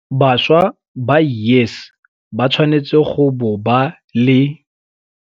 Bašwa ba YES ba tshwanetse go bo ba le.